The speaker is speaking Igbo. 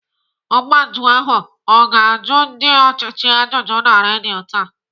Ọgba njụ ahụ ọ ga-ajụ ndị ọchịchị ajụjụ na redio taa?